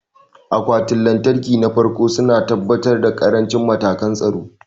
Akwatunan lantarki na farko su na tabbatar da ƙarancin matakan tsaro.